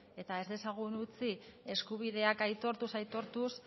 eta ez dezagun utzi eskubideak aitortuz aitortuz